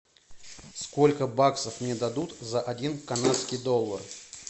сколько баксов мне дадут за один канадский доллар